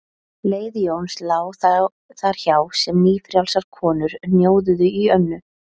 Leið Jóns lá þar hjá sem nýfrjálsar konur hnjóðuðu í Önnu